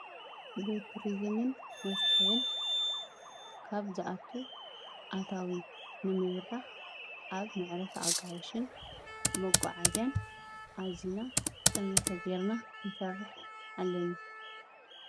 ጉዕዞን ቱሪዝምን መስሕብን ካብ ዝኣቱ ኣታዊ ንምብራኽ ኣብ መዕረፊ ኣጋይሽን መጓዓዝያን ኣዚና ጠመተ ጌርና ክንሰርሕ ኣለና፡፡